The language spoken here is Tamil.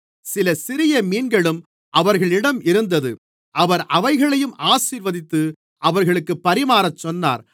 சில சிறிய மீன்களும் அவர்களிடம் இருந்தது அவர் அவைகளையும் ஆசீர்வதித்து அவர்களுக்குப் பரிமாறச் சொன்னார்